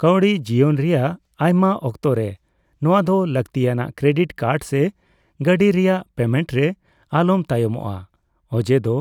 ᱠᱟᱹᱣᱰᱤ ᱡᱤᱭᱚᱱ ᱨᱮᱭᱟᱜ ᱟᱭᱢᱟ ᱚᱠᱛᱚ ᱨᱮ ᱱᱚᱣᱟ ᱫᱚ ᱞᱟᱹᱠᱛᱤ ᱟᱱᱟᱜ ᱠᱨᱮᱰᱤᱴ ᱠᱟᱨᱰ ᱥᱮ ᱜᱟᱹᱰᱤ ᱨᱮᱭᱟᱜ ᱯᱮᱢᱮᱱᱴ ᱨᱮ ᱟᱞᱚᱢ ᱛᱟᱭᱚᱢᱚᱜᱼᱟ, ᱚᱡᱮ ᱫᱚ